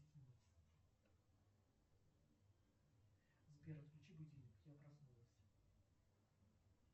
сбер отключи будильник я проснулась